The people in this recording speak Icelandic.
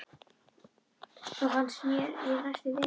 Þó fannst mér ég næstum vita það.